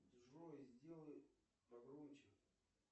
джой сделай погромче